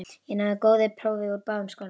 Ég náði góðu prófi úr báðum skólum.